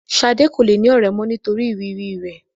Ṣadé kò le ní ọ̀rẹ́ mó nítorí ìrírí rẹ.